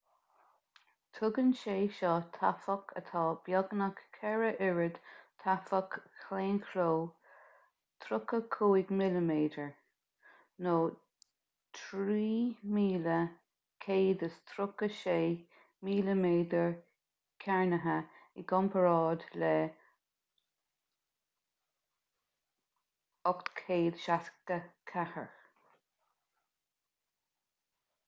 tugann sé seo taifeach atá beagnach ceithre oiread taifeach claonchló 35 mm 3136 mm2 i gcomparáid le 864